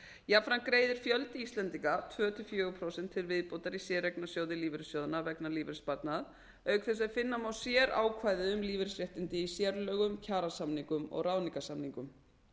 jafnframt greiðir fjöldi íslendinga tvö til fjögur prósent til viðbótar í séreignarsjóði lífeyrissjóðanna vegna lífeyrissparnaðar auk þess sem finna má sérákvæði um lífeyrisréttindi í sérlögum kjarasamningum og ráðningarsamningum